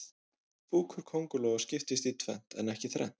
Búkur kóngulóa skiptist í tvennt en ekki þrennt.